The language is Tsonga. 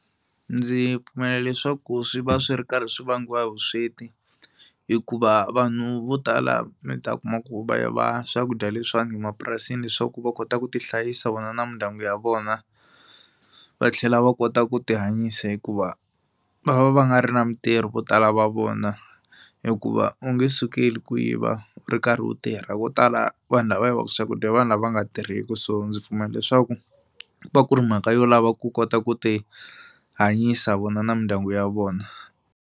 Ndzi pfumela leswaku swi va swi ri karhi swi vangiwa hi vusweti hikuva vanhu vo tala mi ta kuma ku va yiva swakudya leswiwani emapurasini leswaku va kota ku ti hlayisa vona na mindyangu ya vona. Va tlhela va kota ku tihanyisa hikuva va va va nga ri na mitirho vo tala va vona hikuva u nge sukeli ku yiva u ri karhi u tirha. Vo tala vanhu lava yivaka swakudya i vanhu lava nga tirheki so ndzi pfumela leswaku ku va ku ri mhaka yo lava ku kota ku ti hanyisa vona na mindyangu ya vona.